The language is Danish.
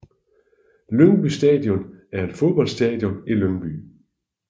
Lyngby Stadion er et fodboldstadion i Lyngby